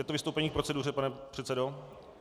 Je to vystoupení k proceduře, pane předsedo?